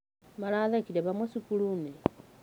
Marathekĩre hamwe cukuruini.